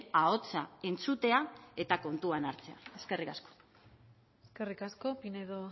ahotsa entzutea eta kontutan hartzea eskerrik asko eskerrik asko pinedo